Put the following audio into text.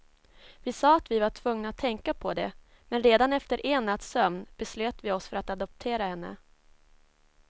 Vi sa att vi var tvungna att tänka på det, men redan efter en natts sömn beslöt vi oss för att adoptera henne.